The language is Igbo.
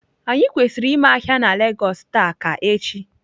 Anyi kwesiri ime ahia na lagos taa ka echi?